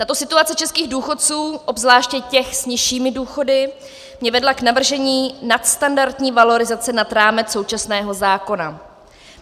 Tato situace českých důchodců, obzvláště těch s nižšími důchody, mě vedla k navržení nadstandardní valorizace nad rámec současného zákona.